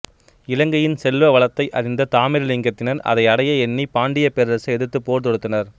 இலங்கையின் செல்வ வளத்தை அறிந்த தாமிரலிங்கத்தினர் அதை அடைய எண்ணி பாண்டியப் பேரரசை எதிர்த்து போர் தொடுத்தனர்